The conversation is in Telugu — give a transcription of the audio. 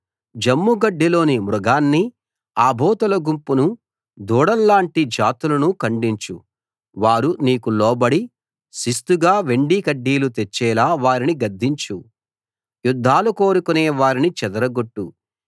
జమ్ముగడ్డిలోని మృగాన్ని ఆబోతుల గుంపును దూడల్లాంటి జాతులను ఖండించు వారు నీకు లోబడి శిస్తుగా వెండి కడ్డీలు తెచ్చేలా వారిని గద్దించు యుద్ధాలు కోరుకునే వారిని చెదరగొట్టు